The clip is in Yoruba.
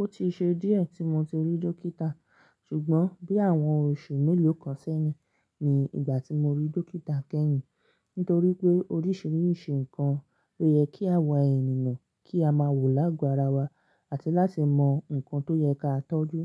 Ó tí ṣe díẹ̀ tí mo ti rí dókítà, ṣùgbọ́n bí àwọn oṣù mélòó kan sẹ́yìn ni ìgbà tí mo rí dókítà kẹ́yìn. Nítorí pé orísìírísìí nǹkan ló yẹ kí a wà ẹni nǹkan kí a máa wò láágo ara wa àti láti mọ nǹkan tó yẹ ká tọ́jú